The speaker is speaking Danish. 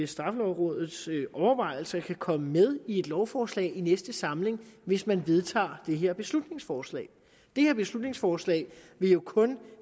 straffelovrådets overvejelser kan komme med i et lovforslag i næste samling hvis man vedtager det her beslutningsforslag dette beslutningsforslag vil jo kun